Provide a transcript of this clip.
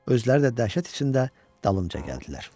Özləri də dəhşət içində dalınca gəldilər.